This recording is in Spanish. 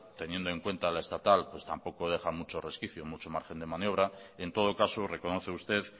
teniendo en cuenta la estatal pues tampoco deja mucho resquicio mucho margen de maniobra en todo caso reconoce usted